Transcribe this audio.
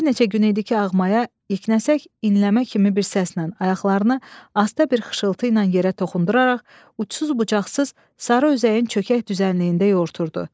Bir neçə gün idi ki, Ağmaya iknəsək inləmə kimi bir səslə ayaqlarını asta bir xışıltı ilə yerə toxunduraraq uçsuz-bucaqsız sarı üzəyin çökək düzənliyində yoğurturdu.